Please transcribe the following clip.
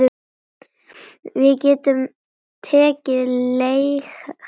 Við getum tekið leigara bara.